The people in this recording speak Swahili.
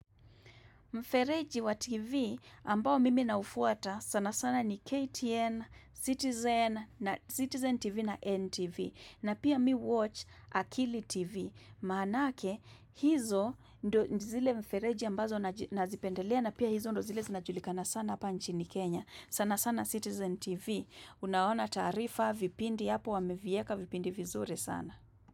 Mfereji wa TV ambao mimi naufuata sana sana ni KTN, Citizen, Citizen TV na NTV na pia mi huwatch akili TV. Maanake hizo ndo zile mfereji ambazo nazipendelea na pia hizo ndo zile zinajulikana sana pa nchini Kenya. Sana sana Citizen TV. Unaona taarifa vipindi hapo wamevieka vipindi vizuri sana.